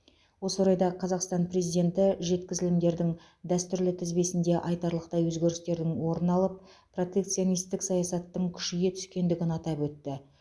осы орайда қазақстан президенті жеткізілімдердің дәстүрлі тізбесінде айтарлықтай өзгерістердің орын алып протекционистік саясаттың күшейе түскендігін атап өтті